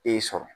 E sɔrɔ